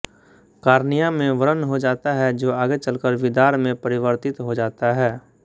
cornea में व्रण हो जाता है जो आगे चलकर विदार में परिवर्तित हो जाता है